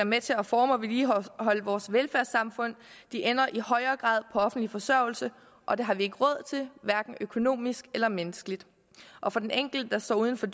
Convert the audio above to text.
med til at forme og vedligeholde vores velfærdssamfund ender i stadig højere grad på offentlig forsørgelse og det har vi ikke råd til hverken økonomisk eller menneskeligt og for den enkelte der står uden for